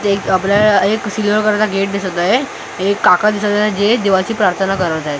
इथं एक आपल्याला एक सिल्वर कलरचा गेट दिसत आहे एक काका दिसत आहेत जे देवाची प्रार्थना करत आहेत.